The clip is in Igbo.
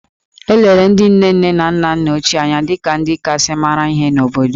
E lere ndị nne nne na nna nna ochie anya dị ka ndị kasị mara ihe n’obodo